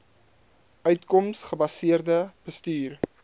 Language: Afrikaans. uitkoms gebaseerde bestuur